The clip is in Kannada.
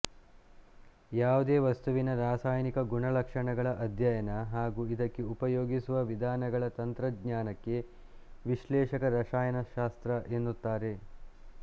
ಯಾವುದೇ ವಸ್ತುವಿನ ರಾಸಾಯನಿಕ ಗುಣಲಕ್ಷಣಗಳ ಅಧ್ಯಯನ ಹಾಗೂ ಇದಕ್ಕೆ ಉಪಯೋಗಿಸುವ ವಿಧಾನಗಳ ತಂತ್ರಜ್ಞಾನಕ್ಕೆ ವಿಶ್ಲೇಷಕ ರಸಾಯನಶಾಸ್ತ್ರ ಎನ್ನುತ್ತಾರೆ